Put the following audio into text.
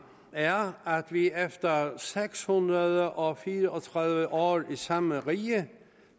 er at vi efter seks hundrede og fire og tredive år i samme rige